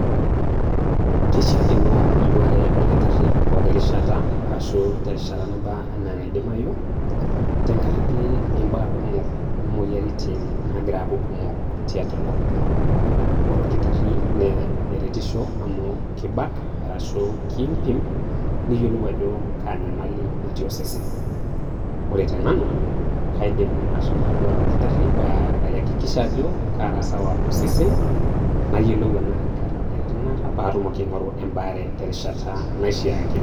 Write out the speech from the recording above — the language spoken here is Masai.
Keishiakino naduare olkitarri pooki rishata arashu teng'ata naba enaa enaidimayu tengaraki embaa kumok oo moyiaritin naagira aaku kumok teatua enkop, ore orkitarri naa eretisho amu kibak arashu kiimpim neyiolou ajo kaa nyamali natii osesen, ore te Nanu kaidim ashomo atoduare olkitarri paa ayakikisha ajo kaara sawa osesen nayiolou tenaa kaata emoyiaritin naata paatumoki aing'oru ebaare terishata naishaakino.